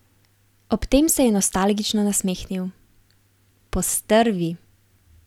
Ob tem se je nostalgično nasmehnil: 'Postrvi...